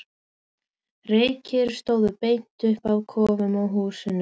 Reykir stóðu beint upp af kofum og húsum.